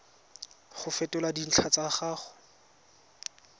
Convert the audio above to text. go fetola dintlha tsa gago